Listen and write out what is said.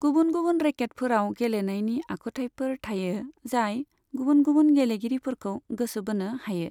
गुबुन गुबुन रेकेटफोराव गेलेनायनि आखुथायफोर थायो जाय गुबुन गुबुन गेलेगिरिफोरखौ गोसो बोनो हायो।